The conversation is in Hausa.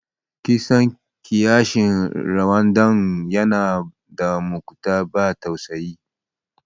Kisan kiyashin Rwanda yana da matuƙar ban tausayi.